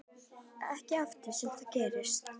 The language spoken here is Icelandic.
Ekki oft sem það gerist.